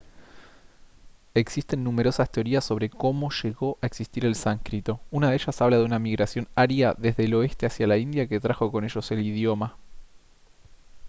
existen numerosas teorías sobre cómo llegó a existir el sánscrito una de ellas habla de una migración aria desde el oeste hacia la india que trajo con ellos el idioma